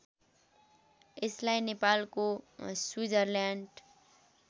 यसलाई नेपालको स्विजरल्याण्ड